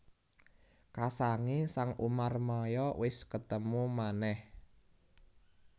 Kasangé sang Umarmaya wis ketemu manèh